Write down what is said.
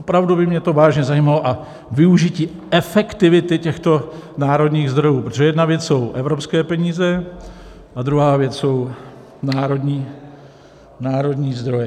Opravdu by mě to vážně zajímalo a využití efektivity těchto národních zdrojů, protože jedna věc jsou evropské peníze a druhá věc jsou národní zdroje.